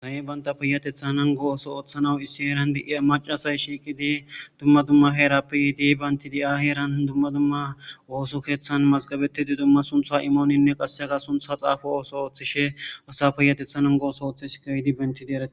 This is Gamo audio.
sahe banta piyatetha an go oso ooththanawu issi eeran di7ia macasay shiiqi di dumma dumma heerappi yiidi bayntidi7aheeran dumma dumma woosu keeththan mazgabetidi dumma suntha imooninne qassega suntha xaafa ooso ooththishe asa piyatethanan gooso ooththish kawidi bentidi arae